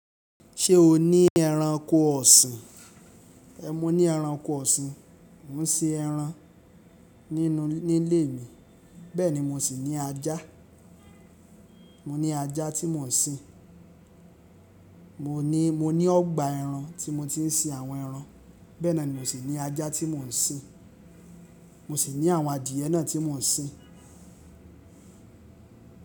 Ṣé o ní ẹranko ọ̀sìn? Mo ní ẹranko ọ̀sìn. Mo ń sin ẹran nílé mi, bẹ́ẹ̀ ni mo sì ní ajá. Mo ní ajá tí mò ń sin. Mo ní, mo ní ọgbà ẹran tí mo ti ń sin àwọn ẹran. Bẹ́ẹ̀ náà ni mo sì ní ajá tí mò ń sin. Mo sì ní àwọn adìẹ náà tí mò ń sin.